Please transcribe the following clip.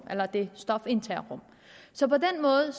af stofindtagerrum så på den måde